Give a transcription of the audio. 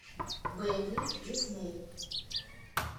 бэмби дисней